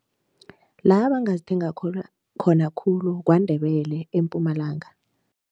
La bangazithenga khulu, KwaNdebele eMpumalanga.